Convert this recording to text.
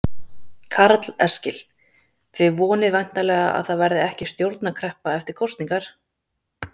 Karl Eskil: Þið vonið væntanlega að það verði ekki stjórnarkreppa eftir kosningar?